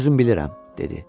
Özüm bilirəm, dedi.